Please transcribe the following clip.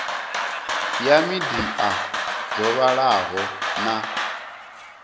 ya midia dzo vhalaho na